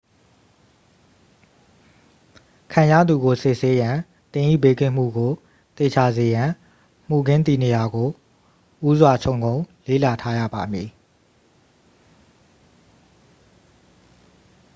ခံရသူကို စစ်ဆေးရန် သင်၏ဘေးကင်းမှုကိုသေချာစေရန် မူခင်းတည်နေရာကို ဦးစွာခြုံငုံလေ့လာထားရပါမည်